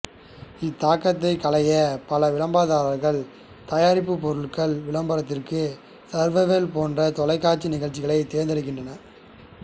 இத்தாக்கத்தைக் களைய பல விளம்பரதாரர்கள் தயாரிப்பு பொருள் விளம்பரத்திற்கு சர்வைவர் போன்ற தொலைக்காட்சி நிகழ்ச்சிகளை தேர்ந்தெடுக்கின்றனர்